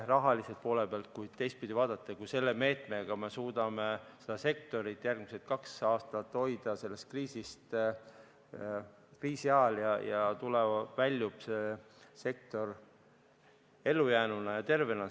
Ja teistpidi vaadates, kui me selle meetmega suudame seda sektorit järgmised kaks aastat ehk siis kriisiajal toetada, siis ehk väljub see sektor sealt ellujäänuna ja tervena.